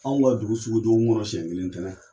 Anw ka dugu sugu dɔgɔkun kɔnɔ mɔn siɲɛ kelen, ntɛnɛn.